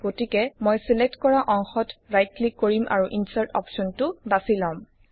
গতিকে মই ছিলেক্ট কৰা অংশত ৰাইট ক্লিক কৰিম আৰু ইনচাৰ্ট অপশ্বনটো বাছি লম